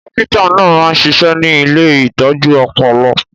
Dókítà náà máa ń ṣiṣẹ́ ní ilé ìtọ́jú ọpọlọ